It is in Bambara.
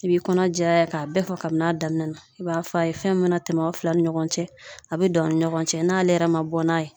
I b'i kɔnɔ jɛya k'a bɛɛ fɔ kabini a daminɛ na, i b'a fɔ a ye fɛn min mana tɛmɛ o fila ni ɲɔgɔn cɛ , a bɛ dan aw ni ɲɔgɔn cɛ n'ale yɛrɛ ma bɔ n'a ye.